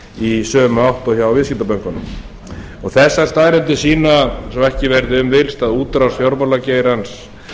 í sömu átt og hjá viðskiptabönkunum þessar staðreyndir sýna svo ekki verður um villst að útrás fjármálageirans